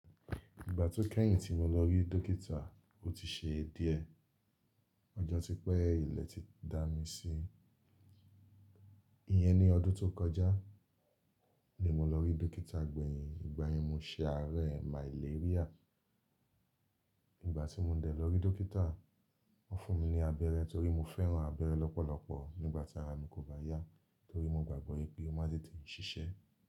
Ìgbà tó kẹ́yìn tí mo lọ rí dókítà, ó ti ṣe díẹ. Ọjọ́ tí pẹ́, ilẹ̀ ti dá mi sílẹ̀. Iyẹn ni ọdún tó kọjá ni mo lọ rí dókítà gbẹ̀yìn ìgbà yẹn mo se àárẹ̀ màléríà. Ìgbà tí mo dẹ̀ lọ rí dókítà, wọ́n fún mi ní abẹ́rẹ́ torí mo fẹ́ràn abẹ́rẹ́ lọ́pọ̀lọpọ̀ nígbà tí ara mi kò bá yá torí mo gbàgbọ́ pé ó máa tí ń ṣiṣẹ́.